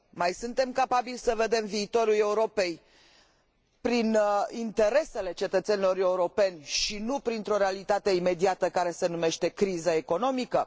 Mai suntem capabili să vedem viitorul Europei prin interesele cetățenilor europeni și nu printr o realitate imediată care se numește criza economică?